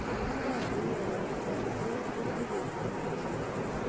Oratunwekab toretet kokikopnguzan